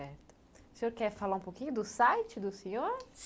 O senhor quer falar um pouquinho do site do senhor?